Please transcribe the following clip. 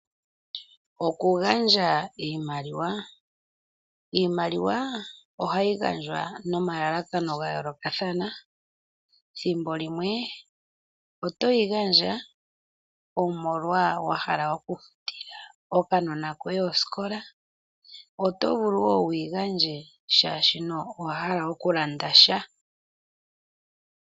Oku gandja iimaliwa Iimaliwa ohayi gandjwa nomalalakano ga yoolokathana, ethimbo limwe oto yi gandja omolwa wa hala oku futila okanona koye osikola. Oto vulu wo wu yi gandje shaashi owa hala oku landa sha.